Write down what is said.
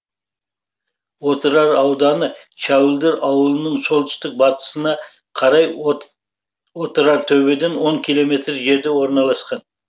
отырар ауданы шәуілдір ауылының солтүстік батысына қарай отырартөбеден он километр жерде орналасқан